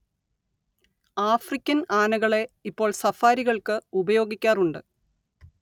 African ആനകളെ ഇപ്പോൾ സഫാരികൾക്ക് ഉപയോഗിക്കാറുണ്ട്